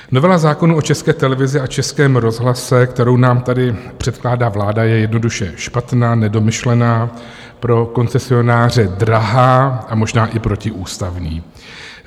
Novela zákona o České televizi a Českém rozhlase, kterou nám tady předkládá vláda, je jednoduše špatná, nedomyšlená, pro koncesionáře drahá a možná i protiústavní.